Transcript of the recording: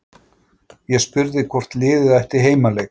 Ég spurði hvort liðið ætti heimaleik?